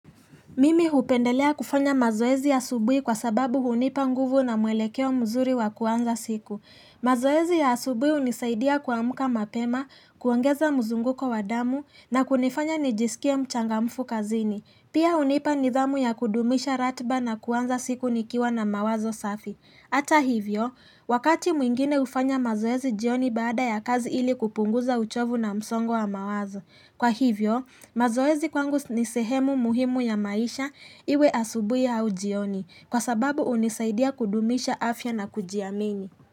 Mimi hupendelea kufanya mazoezi ya asubui kwa sababu hunipa nguvu na mwelekeo mzuri wa kuanza siku. Mazoezi ya asubuhi hunisaidia kuamka mapema, kuongeza mzunguko wa damu na kunifanya nijisikia mchangamfu kazini. Pia hunipa nidhamu ya kudumisha ratiba na kuanza siku nikiwa na mawazo safi. hAta hivyo, wakati mwingine hufanya mazoezi jioni baada ya kazi ili kupunguza uchovu na msongo wa mawazo. Kwa hivyo, mazoezi kwangu ni sehemu muhimu ya maisha iwe asubuhi au jioni kwa sababu hunisaidia kudumisha afya na kujiamini.